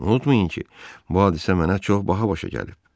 Unutmayın ki, bu hadisə mənə çox baha başa gəlib.